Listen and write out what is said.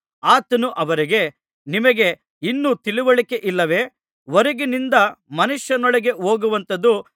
ಆತನು ಅವರಿಗೆ ನಿಮಗೆ ಇನ್ನೂ ತಿಳಿವಳಿಕೆಯಿಲ್ಲವೇ ಹೊರಗಿನಿಂದ ಮನುಷ್ಯನೊಳಗೆ ಹೋಗುವಂಥದು